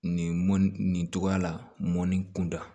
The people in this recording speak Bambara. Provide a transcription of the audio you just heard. Nin mɔn nin cogoya la mɔni kunda